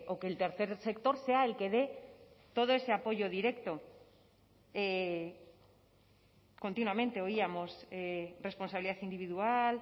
que el tercer sector sea el que dé todo ese apoyo directo continuamente oíamos responsabilidad individual